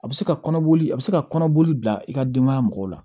A bɛ se ka kɔnɔboli a bɛ se ka kɔnɔboli bila i ka denbaya mɔgɔw la